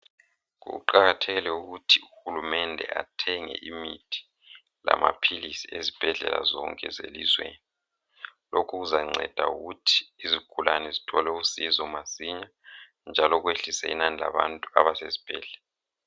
Kuqakathekile ukuthi uhulumende athenge imithi lamaphilisi ezibhedlela zonke zelizweni lokhu kuza nceda ukuthi izigulane zithole usizo masinya njalo kwehlisa inani labantu abasezibhedlela.